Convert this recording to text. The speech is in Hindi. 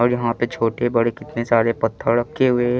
और यहाँ पे छोटे बड़े कितने सारे पथ्हड़ रखे हुए है.